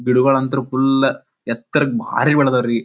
ಬಿಡುವ ಅಂತರ್ ಫುಲ್ ಎತ್ತರಕ್ ಬಹಳ ಬೆಳೆದವು ರಿ.